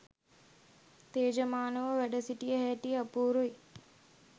තෙජමානව වැඩ සිටිය හැටි අපූරුයි